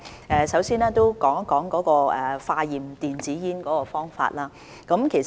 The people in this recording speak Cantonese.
我首先談談化驗電子煙的方法。